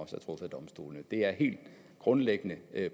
truffet af domstolene det er et helt grundlæggende